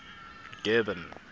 durban